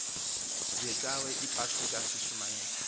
ngecawe yepasika sishumayela